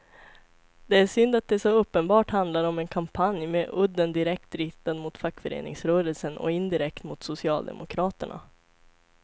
Det är synd att det så uppenbart handlar om en kampanj med udden direkt riktad mot fackföreningsrörelsen och indirekt mot socialdemokraterna.